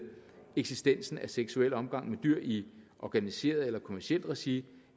eksistensen af seksuel omgang med dyr i organiseret eller kommercielt regi